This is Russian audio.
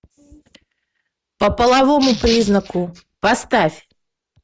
по половому признаку поставь